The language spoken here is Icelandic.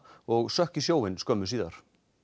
og sökk í sjóinn skömmu síðar